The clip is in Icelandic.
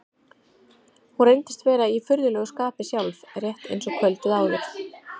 Hún reyndist vera í furðulegu skapi sjálf, rétt eins og kvöldið áður.